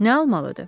Nə almalıdır?